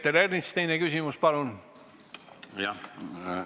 Peeter Ernits, teine küsimus, palun!